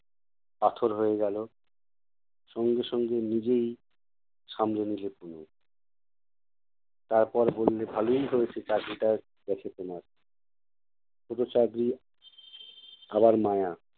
পাথর হয়ে গেলো, সঙ্গে সঙ্গে নিজেই সামলে নিলো তনু। তারপর বললে, ভালোই হয়েছে চাকরিটা গেছে তোমার। ছোটো চাকরি, আবার মায়া!